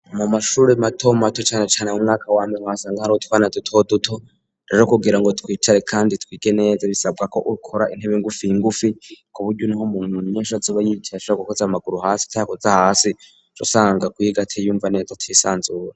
Mu mashuri mato mato cane cane mu mwaka wambe uhasanga hari utwana duto duto rero kugira ngo twicare kandi twige neze bisabwa ko ukora intebe ngufi ngufi kuburyo uri nk'umuntu naho azoba yicaye asshaka gukoze amaguru hasi utayakoza hasi uca usanga kwiga atiyumva neza atisanzuye.